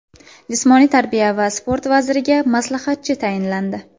Jismoniy tarbiya va sport vaziriga maslahatchi tayinlandi.